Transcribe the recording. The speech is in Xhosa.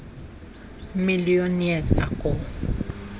billion years ago